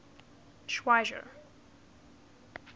schweizer